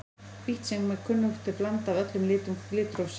Hvítt er sem kunnugt er blanda af öllum litum litrófsins.